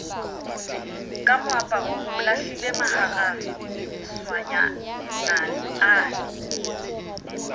ka moaparo o lahlilemaharaswanyana ane